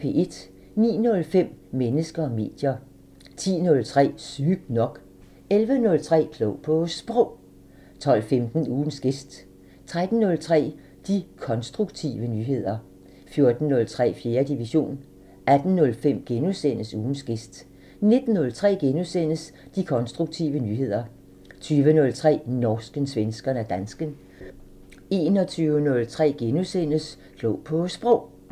09:05: Mennesker og medier 10:03: Sygt nok 11:03: Klog på Sprog 12:15: Ugens gæst 13:03: De konstruktive nyheder 14:03: 4. division 18:05: Ugens gæst * 19:03: De konstruktive nyheder * 20:03: Norsken, svensken og dansken 21:03: Klog på Sprog *